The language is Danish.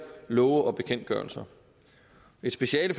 love og bekendtgørelser et speciale